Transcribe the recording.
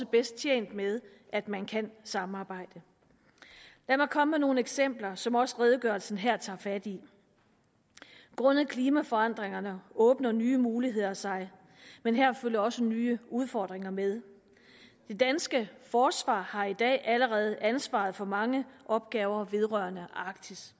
bedst tjent med at man kan samarbejde lad mig komme med nogle eksempler som også redegørelsen her tager fat i grundet klimaforandringerne åbner nye muligheder sig men her følger også nye udfordringer med det danske forsvar har i dag allerede ansvaret for mange opgaver vedrørende arktis